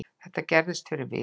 Þetta gerðist fyrir viku